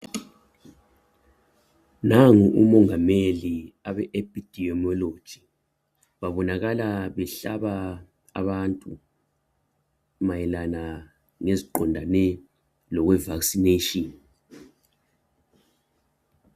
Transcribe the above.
Nangu umongikazi abe epidemiology babonakala behlaba abantu mayelana leziqondane lokwe vaccination